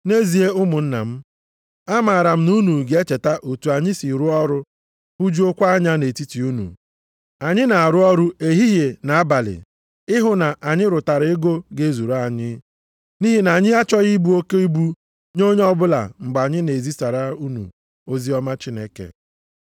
Nʼezie ụmụnna m, amaara m na unu ga-echeta otu anyị si rụọ ọrụ hụjuokwa anya nʼetiti unu. Anyị na-arụ ọrụ ehihie na abalị ịhụ na anyị rụtara ego ga-ezuru anyị, nʼihi na anyị achọghị ịbụ oke ibu nye onye ọbụla mgbe anyị na-ezisara unu oziọma Chineke.